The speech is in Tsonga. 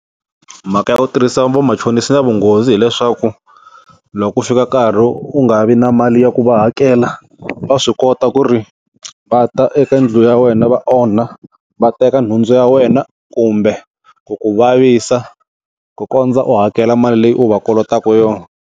Mhaka ya ku tirhisa vamachonisi yi na vunghozi hileswaku, loko ku fika nkarhi u nga vi na mali ya ku va hakela, va swi kota ku ri va ta eka ndlela ya wena va onha, va teka nhundzu ya wena kumbe ku ku vavisa ku kondza u hakela mali leyi u va kolotaka yona.